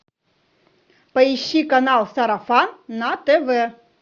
поищи канал сарафан на тв